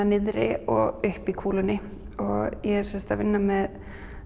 niðri og uppi í kúlunni og ég er sem sagt að vinna með